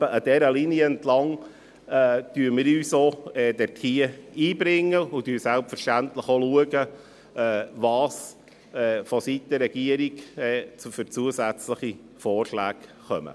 Ungefähr dieser Linie entlang bringen wir uns ein und schauen selbstverständlich auch, was vonseiten der Regierung für zusätzliche Vorschläge kommen.